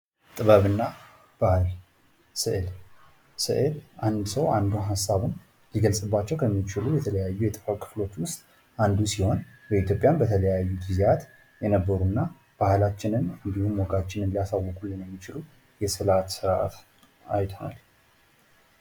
ጥበብና ባህል፤ ስእል፦ ስእል አንድ ሰው አንዱ ሃሳቡን ሊገልፅባቸው ከሚችሉ የተለያዩ የጥበብ ክፍሎች ውስጥ አንዱ ሲሆን በኢትዮጵያም በተለያዩ ጊዜያት የነበሩና ባህላችንን እንድሁም ወጋችንን ሊያሳውቁልን የሚችሉ የስእላት ስርአት አይተናል።